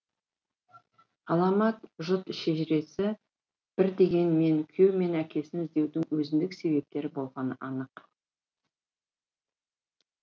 ғаламат жұт шежіресі бір дегенмен күйеуі мен әкесін іздеудің өзіндік себептері болғаны анық